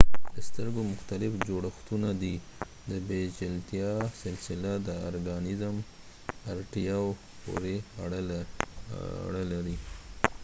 دسترګو مختلف جوړښتونه دي د پیچلتیا سلسله د ارګانیزم اړتیاو پورې اړه لري